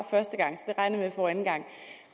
regner jeg får anden gang